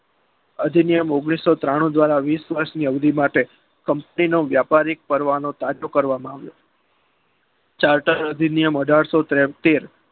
અધિનિયમ ઓગણીસો ત્રાણું દ્વારા વીસ વર્ષ અવધી માટે દેશનો વ્યાપારિક નિયમ તાજો કરવામાં આવ્યો જળધારા નિયમ અઢારસો તોત્તેર